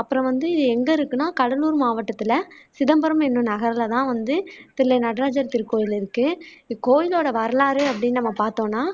அப்பறம் வந்து இது எங்க இருக்குன்னா கடலூர் மாவட்டத்துல சிதம்பரம் என்னும் நகருல தான் வந்து தில்லை நடராஜர் திருக்கோயில் இருக்கு. இக்கோயிலோட வரலாறு அப்படின்னு நம்ம பாத்தோம்னா